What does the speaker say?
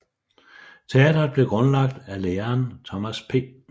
Teatret blev grundlagt af læreren Thomas P